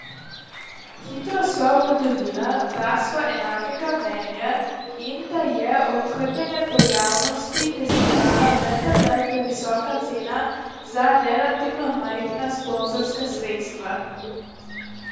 Hitro sva ugotovila, da sva enakega mnenja in da je okrnjenje pojavnosti festivala vendarle previsoka cena za relativno majhna sponzorska sredstva.